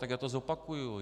Tak já to zopakuji.